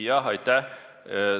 Aitäh!